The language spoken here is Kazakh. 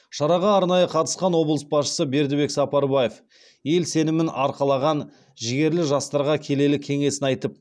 шараға арнайы қатысқан облыс басшысы бердібек сапарбаев ел сенімін арқалаған жігерлі жастарға келелі кеңесін айтып